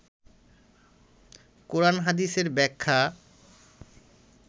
কোরান হাদিসের ব্যাখ্যা